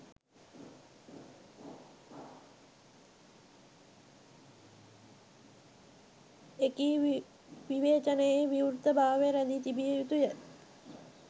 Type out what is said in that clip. එකී විවේචනයේ විවෘතභාවය රැදී තිබිය යුතුය